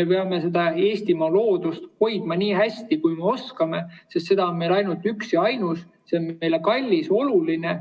me peame seda Eestimaa loodust hoidma nii hästi, kui me oskame, sest see on meil ainult üks ja ainus, see on meile kallis, oluline.